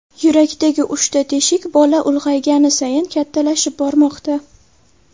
Yurakdagi uchta teshik bola ulg‘aygani sayin kattalashib bormoqda.